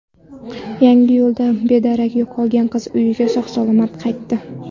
Yangiyo‘lda bedarak yo‘qolgan qiz uyiga sog‘-salomat qaytdi.